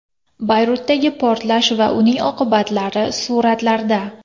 Bayrutdagi portlash va uning oqibatlari suratlarda.